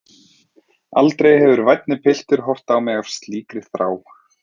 Aldrei hefur vænni piltur horft á mig af slíkri þrá.